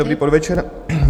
Dobrý podvečer.